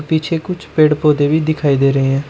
पीछे कुछ पेड़ पौधे भी दिखाई दे रहे हैं।